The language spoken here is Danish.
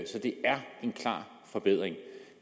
så det er en klar forbedring